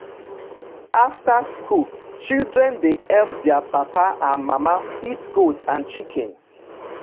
after school children dey help their papa and mama feed goat and chicken.